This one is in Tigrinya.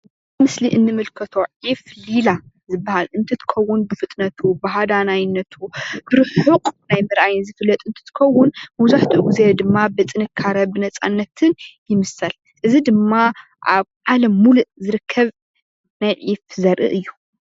ኣብዚ ምስሊ እንምልከቶ ዒፍ ሊላ ዝበሃል እንትኸውን ብፍጥነቱ፣ ብሃዳናይነቱ ብርሑቕ ናይ ምርኣይ ዝፍለጥ እንትኸዉን መብዛሕትኡ ግዜ ድማ ብጥንካረን ብነፃነትን ይምሰል። እዚ ድማ ኣብ ዓለም ሙሉእ ዝርከብ ናይ ዒፍ ዘርኢ እዩ።